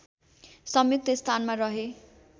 संयुक्त स्थानमा रहे